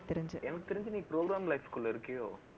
எனக்கு தெரிஞ்சு, நீ program life க்குள்ள இருக்கியோ